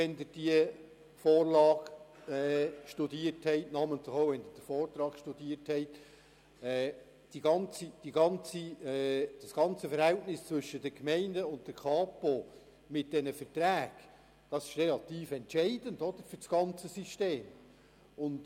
Wenn Sie die Vorlage und namentlich auch den Vortrag studiert haben, haben Sie sicher begriffen, dass das Verhältnis zwischen den Gemeinden und der Kapo mit diesen Verträgen relativ entscheidend für das ganze System ist.